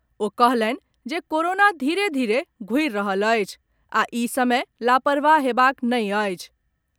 ओ कहलनि जे कोरोना धीरे धीरे घूरि रहल अछि आ ई समय लापरवाह हेबाक नहि अछि।